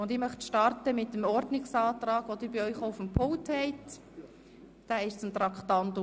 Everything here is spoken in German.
Ich möchte mit dem Ordnungsantrag starten, den Sie bei sich auf dem Pult finden.